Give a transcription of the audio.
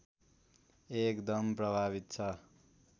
एकदम प्रभावित छ